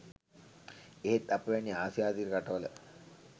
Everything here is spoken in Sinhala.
එහෙත් අප වැනි ආසියාතික රට වල